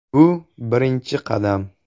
“Bu birinchi qadam.